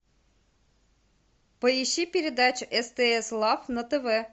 поищи передачу стс лав на тв